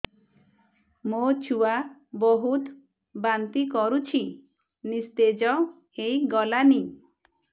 ମୋ ଛୁଆ ବହୁତ୍ ବାନ୍ତି କରୁଛି ନିସ୍ତେଜ ହେଇ ଗଲାନି